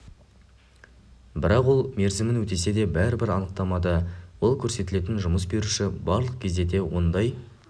бірақ ол мерзімін өтесе де бәрібір анықтамада ол көрсетілетін жұмыс беруші барлық кезде де ондай